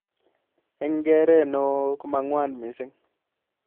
Eng keret neo komangwaan missing.